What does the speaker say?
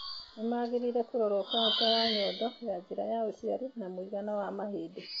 Nĩ mangirĩire kũroro cancer ya nyondo, ya njĩra ya uciari na mũigana wa mahĩndĩ.